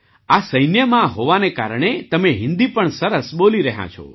આ સૈન્યમાં હોવાના કારણે તમે હિન્દી પણ સરસ બોલી રહ્યાં છો